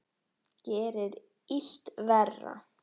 Gerir illt verra.